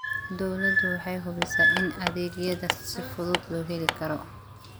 Dawladdu waxay hubisaa in adeegyada si fudud loo heli karo.